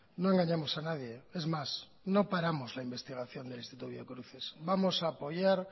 no engañamos a nadie es más no paramos la investigación del instituto biocruces vamos a apoyar